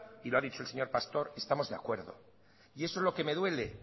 y lo ha dicho el señor pastor estamos de acuerdo y eso es lo que me duele